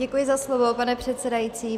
Děkuji za slovo, pane předsedající.